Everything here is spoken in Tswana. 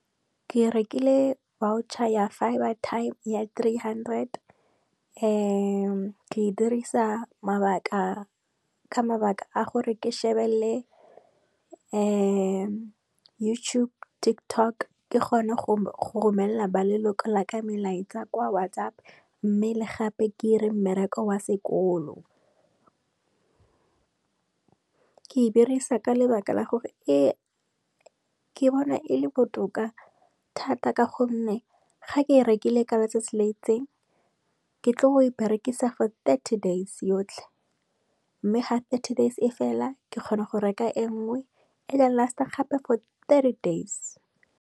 ke rekile voucher ya fibre time ya tree hundred. Ke dirisa ka mabaka a gore ke shebelele YouTube, Tiktok ke kgone go romela ba leloko la ka melaetsa kwa whatsApp, mme le gape ke ire mmereko wa sekolo. Ke e dirisa ka lebaka la gore, ke bona e le botoka thata ka gonne ga ke e rekile ka letsatsi le itseng, ke tlile go e berekisa for thirty days yotlhe. Mme ga thirty days e fela ke kgona go reka e nngwe e last-a gape for thirty days.